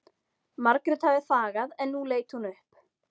Margrét hafði þagað en nú leit hún upp.